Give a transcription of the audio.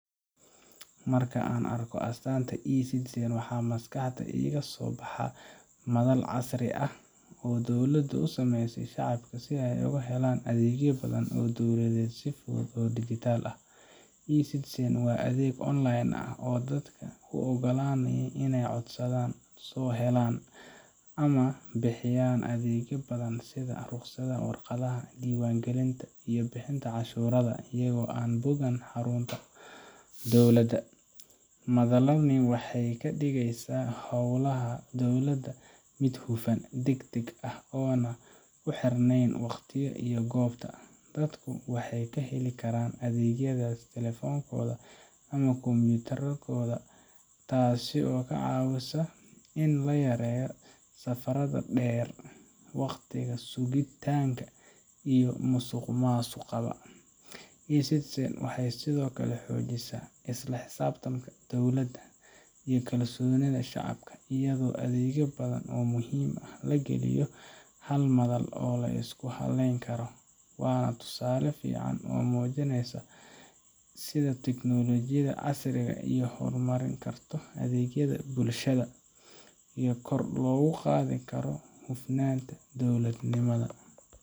Marka aan arko astaanta eCitizen, waxa maskaxda iiga soo baxa madal casri ah oo dowladdu u sameysay shacabka si ay uga helaan adeegyo badan oo dowladeed si fudud oo dhijitaal ah. eCitizen waa adeeg online ah oo dadka u oggolaanaya inay codsadaan, soo helaan, ama bixiyaan adeegyo badan sida ruqsadaha, warqadaha, diiwaangelinta, iyo bixinta cashuuraha, iyagoo aan booqan xarunta dowladda. Madalani waxay ka dhigeysaa howlaha dowladda mid hufan, degdeg ah, oo aan ku xirnayn waqtiga iyo goobta. Dadku waxay ka heli karaan adeegyadaas taleefankooda ama kombiyuutarkooda, taasoo ka caawisa in la yareeyo safarada dheer, waqtiga sugitaanka, iyo musuqmaasuqada. eCitizen waxay sidoo kale xoojisaa isla xisaabtanka dowladda iyo kalsoonida shacabka, iyadoo adeegyo badan oo muhiim ah la geliyo hal madal oo la isku halleyn karo. Waa tusaale fiican oo muujinaysa sida teknoolojiyada casriga ah ay u horumarin karto adeegyada bulshada iyo kor loogu qaadi karo hufnaanta dowladnimada.